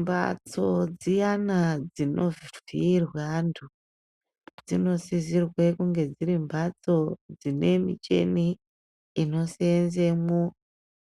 Mbatso dziyana dzinovhiirwa antu dzinosisirwe kunge dziri mbatso dzine michini inoseenzemo